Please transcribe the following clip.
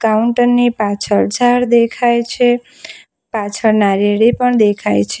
Counter ની પાછળ ઝાડ દેખાય છે પાછળ નારિયેળી પણ દેખાય છે.